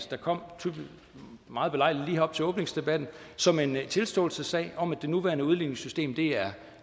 der kom meget belejligt lige her op til åbningsdebatten som en tilståelsessag om at det nuværende udligningssystem er